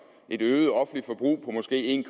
et øget offentligt forbrug på måske en